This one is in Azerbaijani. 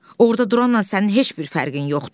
Orda duranla sənin heç bir fərqin yoxdur.